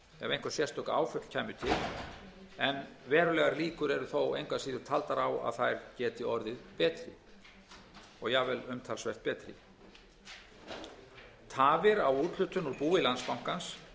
einhver sérstök áföll kæmu til en verulegar líkur eru þó engu að síður taldar á að þær geti orðið betri jafnvel umtalsvert betri tafir á úthlutun úr búi bankans gætu